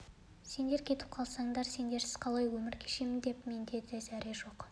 сендер кетіп қалсаңдар сендерсіз қалай өмір кешемін деп менде де зәре жоқ